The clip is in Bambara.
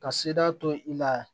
Ka seda to i la